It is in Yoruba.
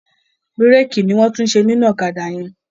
Bírèèkì ni wọ́n ń tún ṣe nínú ọ̀kádà yẹn.